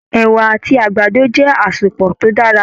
Ẹ̀wà àti àgbàdo jẹ asepọ tó dára.